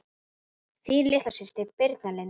Þín litla systir Birna Lind.